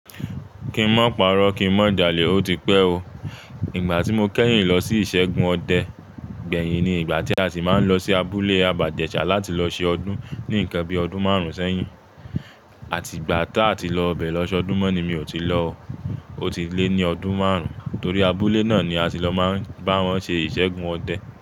Kí n má pààrọ̀, kí n má jalè, ó ti pẹ́ o. Ìgbà tí mo kẹ́yìn lọ sí ìṣẹ́gun ọdẹ, gbẹ̀yìn ni ìgbà tí a ti máa ń lọ sí abúlé Abájẹṣà láti lọ ṣe ọdún ní ìkan bí ọdún márùn ṣẹ́yìn. Àti ìgbà tá a ti lọ bẹ̀ lọ́ṣọdún mọ́ ni mi ò tí lo. Ó ti lé ní ọdún márùn, torí abúlé náà ni a ti lọ máa ń bá wọn ṣe ìṣẹ́gun ọdẹ.